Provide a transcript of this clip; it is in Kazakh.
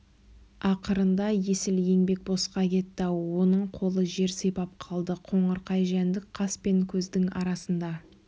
ақырында есіл еңбек босқа кетті-ау оның қолы жер сипап қалды қоңырқай жәндік қас пен көздің арасында